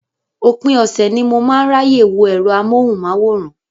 Òpin ọ̀sẹ̀ ni mo máa ń ráyè wo ẹ̀rọ amóhùnmáwòrán.